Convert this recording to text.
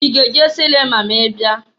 I ga-eje silima ma ị bịa?